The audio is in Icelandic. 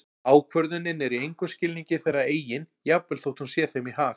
Ákvörðunin er í engum skilningi þeirra eigin jafnvel þótt hún sé þeim í hag.